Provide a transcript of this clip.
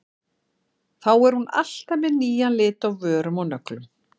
Þá er hún alltaf með nýjan lit á vörum og nöglum.